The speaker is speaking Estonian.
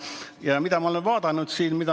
Ja mida ma olen vaadanud?